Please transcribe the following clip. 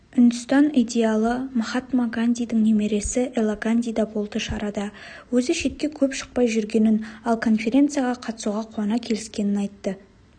үндістан идеалы махатма гандидің немересі эла ганди да болды шарада өзі шетке көп шықпай жүргенін ал конференцияға қатысуға қуана келіскенін атты